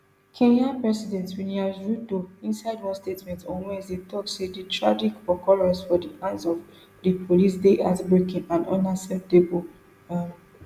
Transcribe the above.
kenya president williams ruto inside one statement on wednesday tok say di tragic occurrence for di hands of di police dey heartbreaking and unacceptable um